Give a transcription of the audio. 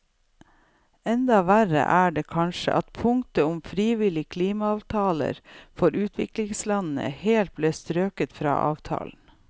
Enda verre er det kanskje at punktet om frivillige klimaavtaler for utviklingslandene helt ble strøket fra avtalen.